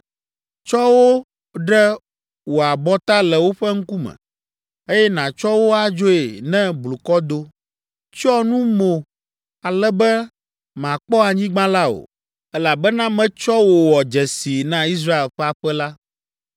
Tsɔ wo ɖe wò abɔta le woƒe ŋkume, eye nàtsɔ wo adzoe ne blukɔ do. Tsyɔ nu mo ale be màkpɔ anyigba la o, elabena metsɔ wò wɔ dzesii na Israel ƒe aƒe la.”